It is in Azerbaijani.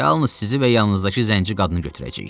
Yalnız sizi və yanınızdakı zənci qadını götürəcəyik.